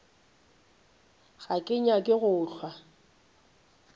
ga ke nyake go hlwa